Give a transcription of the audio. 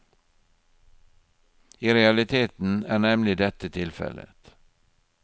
I realiteten er nemlig dette tilfellet.